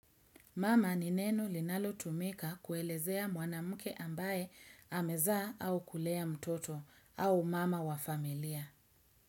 Mama ni neno linalo tumika kuelezea mwanamke ambaye amezaa au kulea mtoto au mama wa familia.